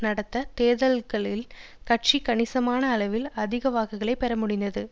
நடந்த தேர்தல்களில் கட்சி கணிசமான அளவில் அதிக வாக்குகளை பெற முடிந்தது